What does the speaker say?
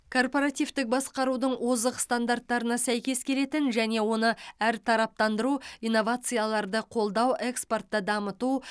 корпоративтік басқарудың озық стандарттарына сәйкес келетін және оны әртараптандыру инновацияларды қолдау экспортты дамыту